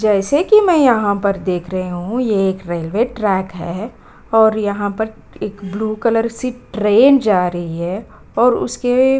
जैसे कि मैं यहाँ पर देख रही हूँ ये एक रेलवे ट्रैक है और यहाँ पर एक ब्लू कलर सी ट्रेन जा रही है और उसके --